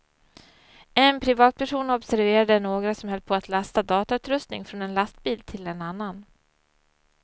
En privatperson observerade några som höll på att lasta datautrustning från en lastbil till en annan.